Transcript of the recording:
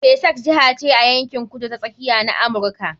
Texas jiha ce a yankin Kudu ta Tsakiya na Amurka.